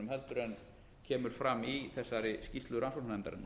heldur en kemur fram í þessari skýrslu rannsóknarnefndarinnar